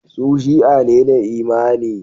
Su Shi'a ne da imani.